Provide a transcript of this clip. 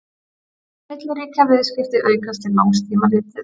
milliríkjaviðskipti aukast til langs tíma litið